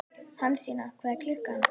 Hansína, hvað er klukkan?